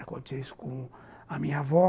Aconteceu isso com a minha avó.